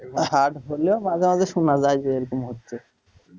hard হলেও মাঝে মাঝে শোনা যায় যে এরকম হচ্ছে,